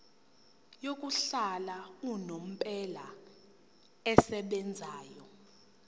yokuhlala unomphela esebenzayo